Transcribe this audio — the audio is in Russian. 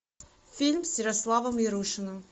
фильм с ярославом ярушиным